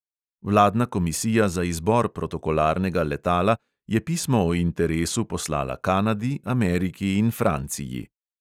Vladna komisija za izbor protokolarnega letala je pismo o interesu poslala kanadi, ameriki in franciji.